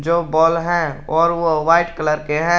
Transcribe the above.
जो बोल है और वो वाइट कलर के हैं।